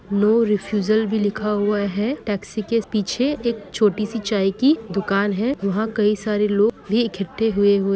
no refusal भी लिखा हुया हे टैक्सी की पीछे एक छोटी सि चाय की दुकान हे उहा कई सारे लोग भी एकठ्ठे हुए हुए--